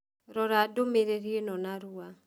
Rora ndũmĩrĩri ĩno narua